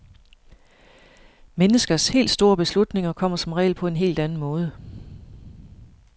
Menneskers helt store beslutninger kommer som regel på en helt anden måde.